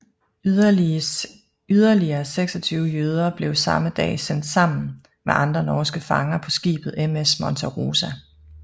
Yderligere 26 jøder blev samme dag sendt sammen med andre norske fanger på skibet MS Monte Rosa